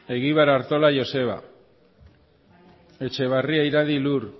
egibar artola joseba etxeberria iradi lur